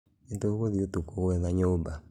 Nĩtũgũthiĩ ũtukũ gwetha nyũmba